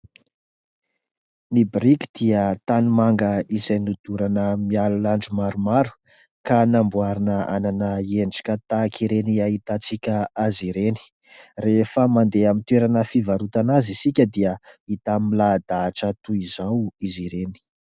Ny boriky dia tanimanga izay nodorana mialon'andro maromaro ka namboarina hanana endrika tahaka ireny ahitantsika azy ireny, rehefa mandeha amin'ny toerana fivarotana azy isika dia hita milahadahatra toy izao izy ireny.